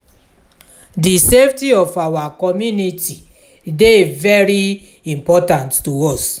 di safety of our community dey very important to us.